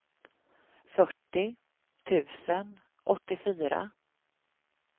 fyrtio tusen åttiofyra